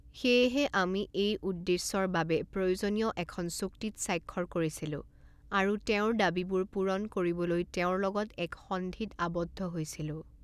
সেয়েহে, আমি এই উদ্দেশ্যৰ বাবে প্ৰয়োজনীয় এখন চুক্তিত স্বাক্ষৰ কৰিছিলোঁ আৰু তেওঁৰ দাবীবোৰ পূৰণ কৰিবলৈ তেওঁৰ লগত এক সন্ধিত আবদ্ধ হৈছিলোঁ।